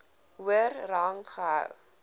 hoër rang gehou